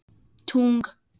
Þinn sonur Heimir Þór.